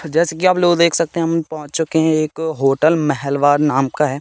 जैसा कि आप लोग देख सकते है हम पहोच चुके है एक होटल मेहेलवार नाम का है।